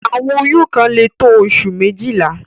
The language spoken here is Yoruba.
Àwọn oyún kan lè tó oṣù méjìlá.